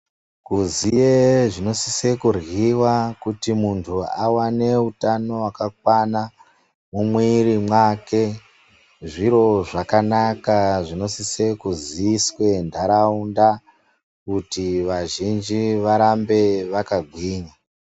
Kuziye zvinosise kuryiwa kuti muntu awane hutano hwakakwana mumwiri mwake zviro zvakanake zvinosise kuziiswe ntaraunda kuti vazhinji varambe vakagwinya.